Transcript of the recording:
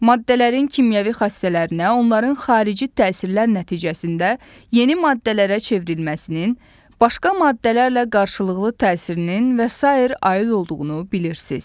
Maddələrin kimyəvi xassələrinə onların xarici təsirlər nəticəsində yeni maddələrə çevrilməsinin, başqa maddələrlə qarşılıqlı təsirinin və sair aid olduğunu bilirsiniz.